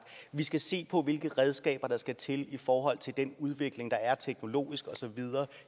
vi skal se på hvilke redskaber der skal til i forhold til den udvikling der er teknologisk og så videre